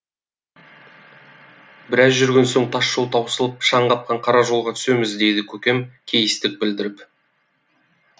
біраз жүрген соң тас жол таусылып шаң қапқан қара жолға түсеміз дейді көкем кейістік білдіріп